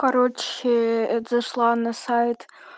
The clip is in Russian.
короче это зашла на сайт